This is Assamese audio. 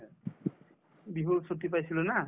বিহুৰ ছুটী পাইছিলো না